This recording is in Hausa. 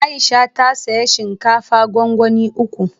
Aisha ta saya shinkafa gwangwani uku